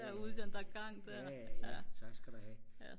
derude i den der gang der